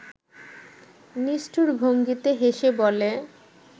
নিষ্ঠুর ভঙ্গিতে হেসে বলে